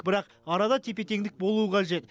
бірақ арада тепе теңдік болуы қажет